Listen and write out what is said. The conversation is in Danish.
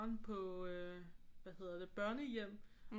På øh hvad hedder det børnehjem